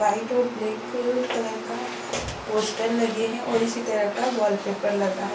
White और black colour का poster लगे है और इसी तरह का वॉलपेपर लगा है।